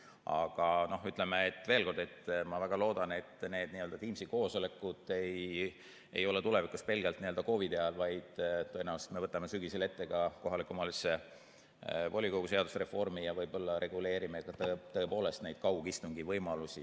Aga ütleme, veel kord, ma väga loodan, et need Teamsi koosolekud ei ole tulevikus pelgalt COVID‑i ajal, vaid tõenäoliselt me võtame sügisel ette ka kohaliku omavalitsuse volikogu seaduse reformi ja võib-olla reguleerime tõepoolest neid kaugistungi võimalusi.